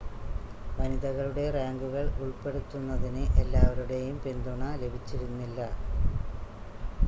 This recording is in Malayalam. വനിതകളുടെ റാങ്കുകൾ ഉൾപ്പെടുത്തുന്നതിന് എല്ലാവരുടെയും പിന്തുണ ലഭിച്ചിരുന്നില്ല